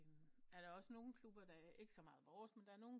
Er der også nogen klubber ikke så meget vores men der er nogen